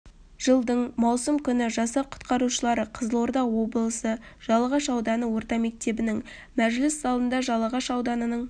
жылдың маусым күні жасақ құтқарушылары қызылорда облысы жалағаш ауданы орта мектебінің мәжіліс залында жалағаш ауданының